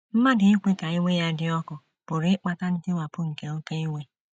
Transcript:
Mmadụ ikwe ka iwe ya “ dị ọkụ ” pụrụ ịkpata ntiwapụ nke oké iwe!